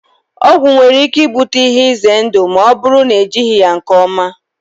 Ọgwụ nwere ike ibute ihe ize ndụ ma ọ bụrụ na ejighị ya nke ọma.